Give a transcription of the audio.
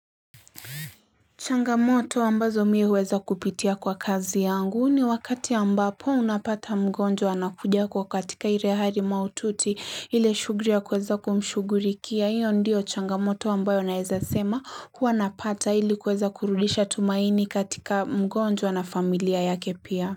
Changamoto ambazo mii huweza kupitia kwa kazi yangu ni wakati ambapo unapata mgonjwa anakuja kwa katika ile hali maututi ile shughuli ya kuweza kumshugulikia. Hiyo ndiyo changamoto ambayo naweza sema huwa napata ili kuweza kurudisha tumaini katika mgonjwa na familia yake pia.